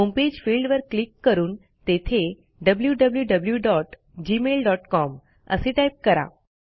homepage फिल्डवर click करून तेथे wwwgmailcom असे टाईप करा